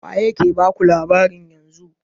Waye ke baku labarin yanzu?